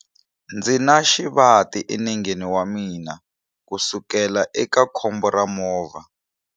Ndzi na xivati enengeni wa mina kusukela eka khombo ra movha.